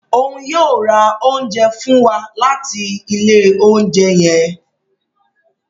Òún yóò o rà oúnjẹ fun wà latí ilé oúnjẹ yẹn